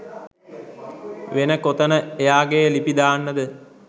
වෙන කොතන එයාගෙ ලිපි දාන්නද?